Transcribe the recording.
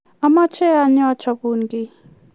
amache anyoo achapun kiy